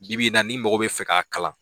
Bi-bi in na ni mɔgɔ bɛ fɛ k'a kalan